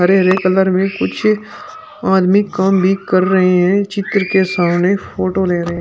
हरे हरे कलर में कुछ आदमी काम भी कर रहे हैं चित्र के सामने फोटो ले रहे--